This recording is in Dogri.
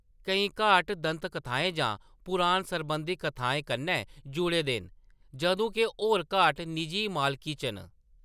केईं घाट दंतकथाएं जां पुराण सरबंधी कथाएं कन्नै जुड़े दे न जदूं के होर घाट निजी मालकी च न।